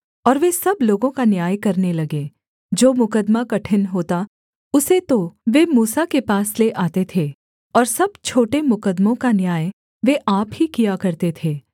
और वे सब लोगों का न्याय करने लगे जो मुकद्दमा कठिन होता उसे तो वे मूसा के पास ले आते थे और सब छोटे मुकद्दमों का न्याय वे आप ही किया करते थे